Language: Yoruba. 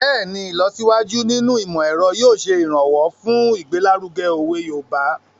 Bẹ́ẹ̀ni, ìlọsíwájú nínú ìmọ̀-ẹ̀ro yóò ṣe ìrànwọ́ fun igbelaruge owe Yoruba